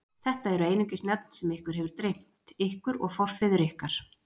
Þetta eru einungis nöfn sem ykkur hefur dreymt, ykkur og forfeður ykkar.